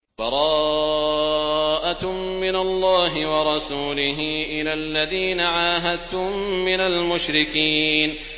بَرَاءَةٌ مِّنَ اللَّهِ وَرَسُولِهِ إِلَى الَّذِينَ عَاهَدتُّم مِّنَ الْمُشْرِكِينَ